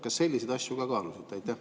Kas te selliseid asju ka kaalusite?